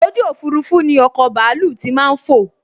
ojú òfurufú ni ọkọ̀ bàálù tí màá n fò